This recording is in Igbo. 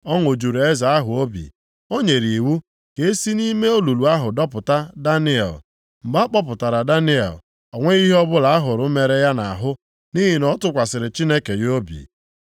Ọṅụ juru eze ahụ obi! O nyere iwu ka e si nʼime olulu ahụ dọpụta Daniel. Mgbe a kpọpụtara Daniel, o nweghị ihe ọbụla a hụrụ mere ya nʼahụ, nʼihi na ọ tụkwasịrị Chineke ya obi.